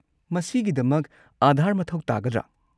ꯃꯁꯤꯒꯤꯗꯃꯛ ꯑꯥꯙꯥꯔ ꯃꯊꯧ ꯇꯥꯒꯗ꯭ꯔꯥ?